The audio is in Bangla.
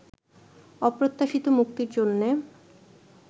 অপ্রত্যাশিত মুক্তির জন্যে